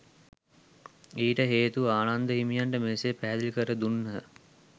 ඊට හේතු ආනන්ද හිමියන්ට මෙසේ පැහැදිලි කර දුන්හ.